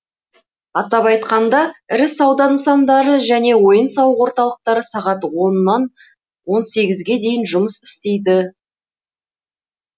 атап айтқанда ірі сауда нысандары және ойын сауық орталықтары сағат онннан он сегізге дейін жұмыс істейді